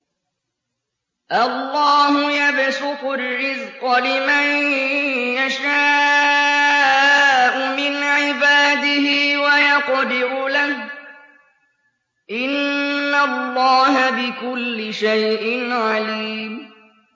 اللَّهُ يَبْسُطُ الرِّزْقَ لِمَن يَشَاءُ مِنْ عِبَادِهِ وَيَقْدِرُ لَهُ ۚ إِنَّ اللَّهَ بِكُلِّ شَيْءٍ عَلِيمٌ